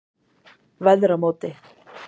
Veðramóti